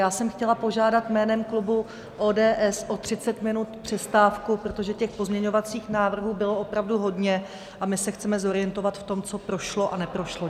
Já jsem chtěla požádat jménem klubu ODS o 30 minut přestávku, protože těch pozměňovacích návrhů bylo opravdu hodně a my se chceme zorientovat v tom, co prošlo a neprošlo.